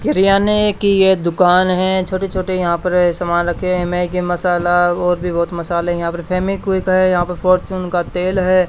करियाने की ये दुकान है छोटे-छोटे यहां पर सामान रखे हैं मैगी मसाला और भी बहुत मसाले यहां पे फेविक्विक हैं यहां पे फॉर्चून का तेल है।